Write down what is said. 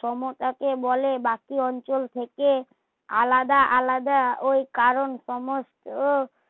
সমতাকে বলে বাকি অঞ্চল থেকে আলাদা আলাদা ওই কারণ সমস্ত